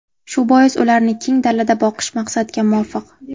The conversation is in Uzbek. Shu bois, ularni keng dalada boqish maqsadga muvofiq.